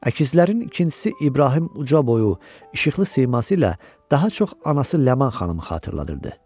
Əkizlərin ikincisi İbrahim ucaboyu, işıqlı siması ilə daha çox anası Ləman xanımı xatırladırdı.